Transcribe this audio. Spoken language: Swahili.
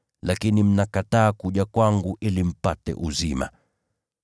Lakini mnakataa kuja kwangu ili mpate uzima.